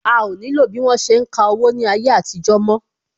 A o ní lo bí wọ́n ṣe ń ka owó ní ayé àtijó mo